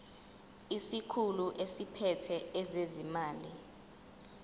isikhulu esiphethe ezezimali